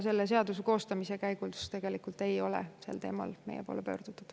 Selle seaduse koostamise käigus ei ole meie poole sel teemal tegelikult pöördutud.